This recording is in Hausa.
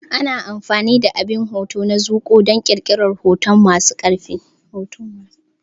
Ana amfani da abin hoto na zuƙowa don ƙirƙirar hotuna masu ƙarfi.